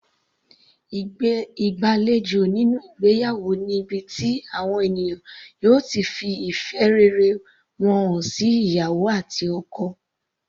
Ìgbàlejò nínú ìgbéyàwó ni ibi tí àwọn ènìyàn yóò ti fi ìfẹ́ rere wọn hàn sí ìyàwó àti ọkọ.